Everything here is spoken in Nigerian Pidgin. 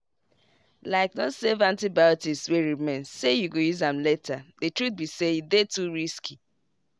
likeno save antibiotics wey remain say you go use am laterthe truth be saye dey too risky.